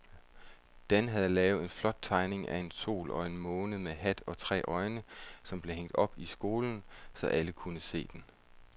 Dan havde lavet en flot tegning af en sol og en måne med hat og tre øjne, som blev hængt op i skolen, så alle kunne se den.